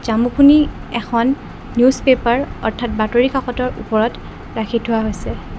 জামুখিনি এখন newspaper অৰ্থাৎ বাতৰি কাকতৰ ওপৰত ৰাখি থোৱা হৈছে।